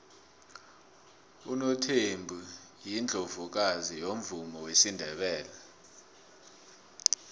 unothembi yiundlovukazi yomvumo wesindebele